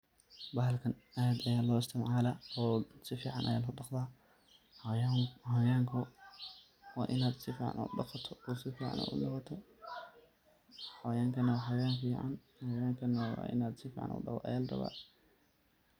bahalkan aad aya loo isticmaala si fican aya loo dhaqda, xawayanka waa in ad si fican udhaqato oo si fican ad udhaqato, xawayanka waxa wayan inad si fican udhaqdo aya laraba